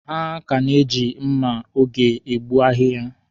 Ha ka na-eji mma oge egbu ahịhịa.